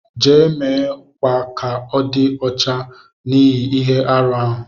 Je, me kwa ka ọ di ọcha n'ihi ihe-árú ahu.